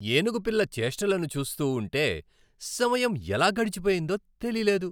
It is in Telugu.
ఏనుగు పిల్ల చేష్టలను చూస్తూ ఉంటె సమయం ఎలా గడిచిపోయిందో తెలీలేదు.